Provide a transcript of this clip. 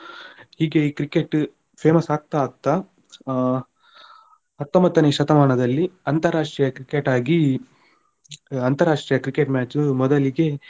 ಹೀಗೆ ಈ Cricket famous ಆಗ್ತಾ ಆಗ್ತಾ ಆ ಹತ್ತೊಂಬತ್ತನೇ ಶತಮಾನದಲ್ಲಿ ಅಂತಾರಾಷ್ಟ್ರೀಯ Cricket ಆಗಿ ಅಂತಾರಾಷ್ಟ್ರೀಯ Cricket match ಮೊದಲಿಗೆ